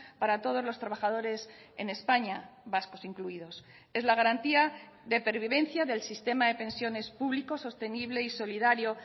para todos los trabajadores en españa vascos incluidos es la garantía de pervivencia del sistema de pensiones público sostenible y solidario